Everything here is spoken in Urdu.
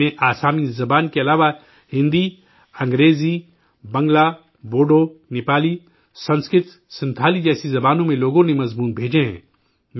ان میں، آسامی زبان کے علاوہ، ہندی، انگریزی، بنگالی، بوڈو، نیپالی، سنسکرت، سنتھالی جیسی زبانوں میں لوگوں نے مضمون بھیجے ہیں